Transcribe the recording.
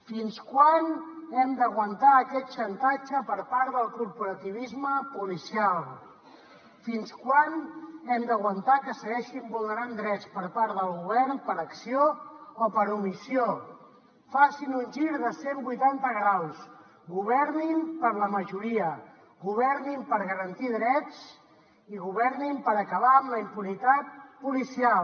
fins quan hem d’aguantar aquest xantatge per part del corporativisme policial fins quan hem d’aguantar que es segueixin vulnerant drets per part del govern per acció o per omissió facin un gir de cent vuitanta graus governin per a la majoria governin per garantir drets i governin per acabar amb la impunitat policial